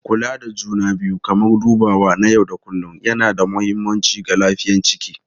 Kula da juna biyu kamar dubawa na yau da kullun yana da mahimmanci ga lafiyayyen ciki.